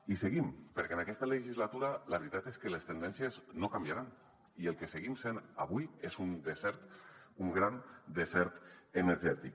i seguim perquè en aquesta legislatura la veritat és que les tendències no canviaran i el que seguim sent avui és un desert un gran desert energètic